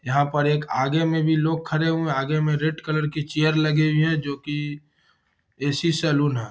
यहाँ पर एक आगे में भी लोग खड़े हुए हैं आगे में रेड कलर की चेयर लगी हुई हैं जो कि ऐ.सी. सैलून है।